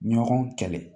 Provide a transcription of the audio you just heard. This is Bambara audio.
Ɲɔgɔn kɛlɛ